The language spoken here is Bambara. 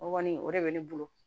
O kɔni o de bɛ ne bolo